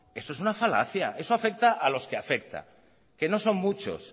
eso es una falacia eso afecta a los que afecta que no son muchos